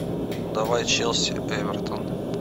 давай челси эвертон